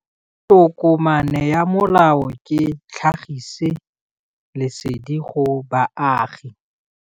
Tokomane ya molao ke tlhagisi lesedi go baagi.